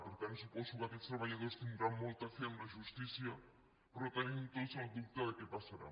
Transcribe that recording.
per tant suposo que aquests treballadors tindran molta fe en la justícia però tenim tots el dubte de què passarà